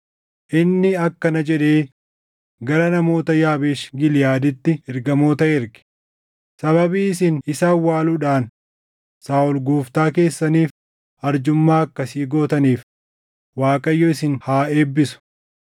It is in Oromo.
inni akkana jedhee gara namoota Yaabeesh Giliʼaaditti ergamoota erge; “Sababii isin isa awwaaluudhaan Saaʼol gooftaa keessaniif arjummaa akkasii gootaniif Waaqayyo isin haa eebbisu.